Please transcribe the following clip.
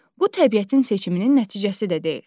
Bu təbiətin seçiminin nəticəsi də deyil.